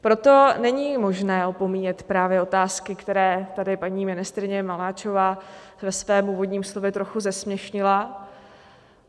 Proto není možné opomíjet právě otázky, které tady paní ministryně Maláčová ve svém úvodním slově trochu zesměšnila.